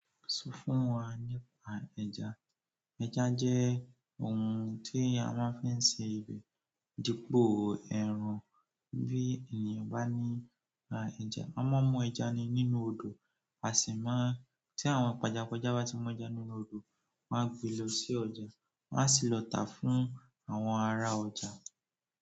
Sọ fún wa nípa ẹja. Ẹja jẹ́ ohun tí a máa ń fi ń ṣe ọbẹ dipò ẹran. Bí ènìyàn bá ní ra ẹja, a máa ń mú ẹja nínú odò, a sì máa-- tí àwọn pàjàpájà bá ti mú ẹja nínú odò, wọ́n a gbé lọ sí ọjà, wọ́m a sì lọ tàá fún àwọn ará ọjà.